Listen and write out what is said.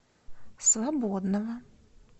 свободного